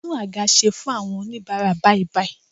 Tún àga ṣe fún àwọn oníbara bàìbàì